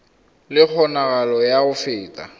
le kgonagalo ya go feta